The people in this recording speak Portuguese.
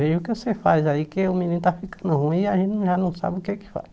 Veja o que você faz aí que o menino está ficando ruim e a gente já não sabe o que é que faz.